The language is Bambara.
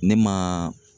Ne ma